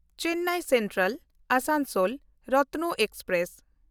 Chennai Central-Asansol Ratna express